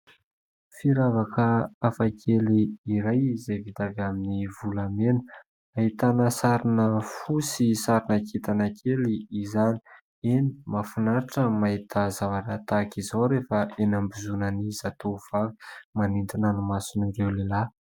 Firavaka hafakely iray izay vita avy amin'ny volamena. Ahitana sarina fo sy sarina kintana kely izany. Eny, mahafinaritra ny mahita zavatra tahaka izao rehefa eny ambozonan'ny zatovovavy, manintona ny mason'ireo lehilahy.